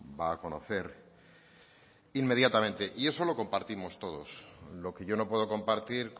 va a conocer inmediatamente y eso lo compartimos todos lo que yo no puedo compartir